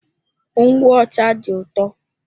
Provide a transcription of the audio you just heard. Ngwụ ọcha dị ụtọ.